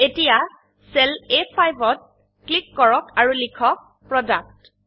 এতিয়া cell A5 ত click কৰক আৰু লিখক প্ৰোডাক্ট